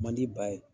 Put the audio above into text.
Man di ba ye